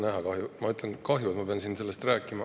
Ma ütlen, kahju, et ma pean siin sellest rääkima.